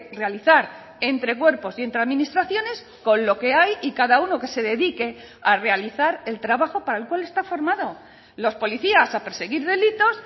realizar entre cuerpos y entre administraciones con lo que hay y cada uno que se dedique a realizar el trabajo para el cual está formado los policías a perseguir delitos